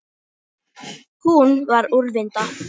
Hún var úrvinda.